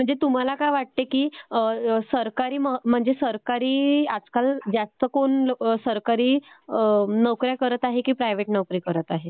म्हणजे तुम्हाला काय वाटते की म्हणजे सरकारी आजकाल जास्त कोण सरकारी नोकऱ्या करत आहे की प्रायव्हेट नोकऱ्या करत आहे?